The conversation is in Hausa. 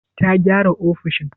Ta gyara ofishin?